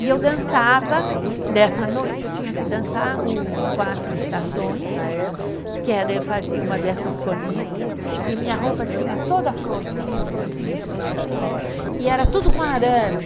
E eu dançava, no nessa noite eu tinha que dançar o Quatro Estações, que era, eu fazia uma dessas solistas, e minha roupa tinha toda florzinha, florzinha, florzinha, e era tudo com arame.